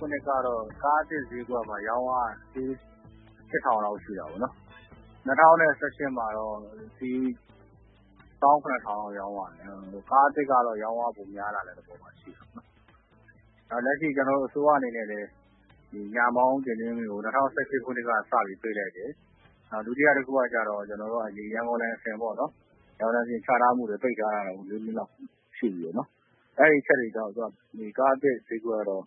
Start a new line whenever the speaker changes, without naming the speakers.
ခုနှစ်ကတော့ ကားသစ် ဈေးကွက်က ရောင်းအား ၈ ထောင်လောက် ရှိတာပေါ့နော်။ ၂၀၁၈ မှာတော့ ၁ သောင်း ၇ ထောင်လောက် ရောင်းရတယ်။ ကား အသစ်ကတော့ ရောင်းအား ပိုကောင်းလာတဲ့ သဘောမှာ ရှိတယ်။ လက်ရှိ အစိုးရ အနေနဲ့လည်း ညာမောင်း တင်သွင်းခွင့်ကို ၂၀၁၈ ခုနှစ်က စပြီး ပိတ်လိုက်တယ်။ ဒုတိယ တခုက ကျတော့ ဒီ ရန်ကုန်လိုင်စင်ပေါ့နော်။ ရန်ကုန်လိုင်စင် ချထားမှုကို ပိတ်ထားတာဘဲ ၄ နှစ်လောက် ရှိပြီပေါ့နော်။ အဲဒီ အချက်တွေကြောင့် ကား အသစ်ဈေးကွက်ကတော့